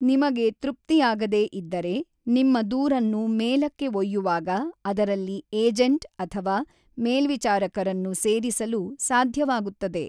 ನಿಮಗೆ ತೃಪ್ತಿಯಾಗದೇ ಇದ್ದರೆ, ನಿಮ್ಮ ದೂರನ್ನು ಮೇಲಕ್ಕೆ ಒಯ್ಯುವಾಗ ಅದರಲ್ಲಿ ಏಜೆಂಟ್ ಅಥವಾ ಮೇಲ್ವಿಚಾರಕರನ್ನು ಸೇರಿಸಲು ಸಾಧ್ಯವಾಗುತ್ತದೆ.